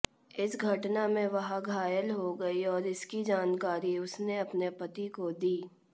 इस घटना में वह घायल हो गई और इसकी जानकारी उसने अपने पति को दी